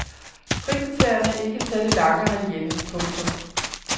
Frikvartererne er ikke særlig lange herhjemme. punktum